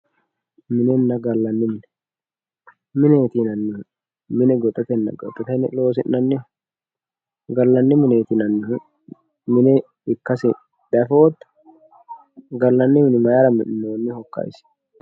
minenna gallanni mine mineeti yinannihu mine goxatenna ka"ate loosi'nanniho gallanni mineeti yinannihu mine ikkasi diafootto gallanni mine mayiira mi'nineemmohokka isi.